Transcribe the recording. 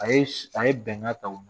A ye a ye bɛnka ta o don